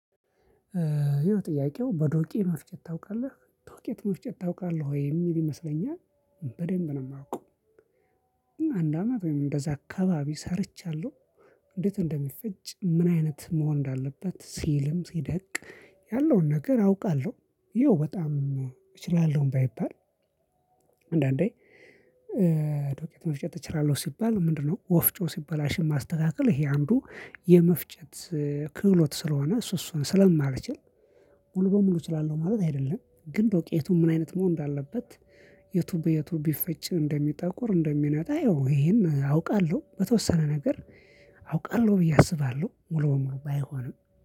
ይሄው ጥያቄው "በዶቄ መፍጨት ታውቃለህ?" ዱቄት መፍጨት ታውቃለህ ወይ የሚል ይመስለኛል። በደንብ ነው የማውቀው። አንድ አመት ወይም እንደዛ አካባቢ ሰርቻለሁ። እንዴት እንደሚፈጭ፣ ምን አይነት መሆን እንዳለበት፣ ሲልም ሲደቅ ያለውን ነገር አውቃለሁ። ያው በጣም እችላለሁም ባይባል አንዳንዴ ዶቄት መፍጨት እችላለሁ ሲባል ምንድነው ወፍጮ ሲበላሽም ማስተካከል ይሄ አንዱ የመፍጨት ክህሎት ስለሆነ እሱ እሱን ስለማልችል ሙሉ በሙሉ እችላለሁ ማለት አይደለም። ግን ዶቄቱን ምን አይነት መሆን እንዳለበት የቱ በየቱ ቢፈጭ እንደሚጠቁር እንደሚነጣ ያው ይሄን አውቃለሁ። በተወሰነ ነገር አውቃለሁ ብዬ አስባለሁ። ሙሉ በሙሉ ባይሆንም